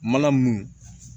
Mana mun